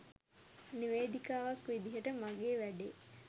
නිවේදිකාවක් විදියට මගේ වැඩේ